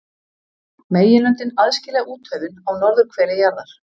Meginlöndin aðskilja úthöfin á norðurhveli jarðar.